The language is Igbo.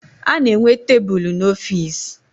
A na-enwe tebulu n'ọfiisi